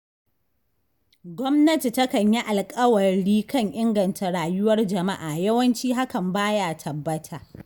Gwamnati takan yi alƙawari kan inganta rayuwar jama'a yawanci hakan ba ya tabbata.